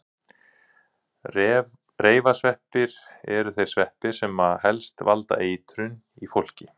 Reifasveppir eru þeir sveppir sem helst valda eitrunum í fólki.